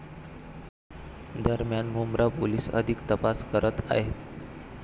दरम्यान मुंब्रा पोलिस अधिक तपास करत आहेत.